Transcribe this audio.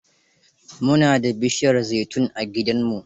Mu na da bishiyar zaitun a gidanmu.